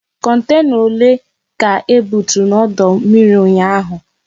Kontena ole ka ebuturu n'ọdụ mmiri ụnyaahụ?